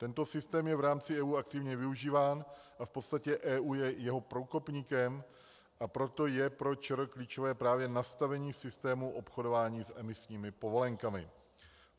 Tento systém je v rámci EU aktivně využíván a v podstatě je EU jeho průkopníkem, a proto je pro ČR klíčové právě nastavení systému obchodování s emisními povolenkami.